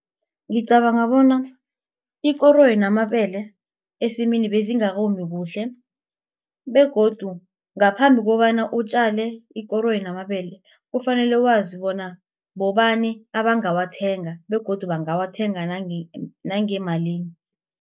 Ngicabanga bona ikoroyi namabele esimini bezingakomi kuhle begodu ngaphambi kobana utjale ikoroyi namabele kufanele wazi bona bobani abangawathenga begodu bangawathenga nangemalini.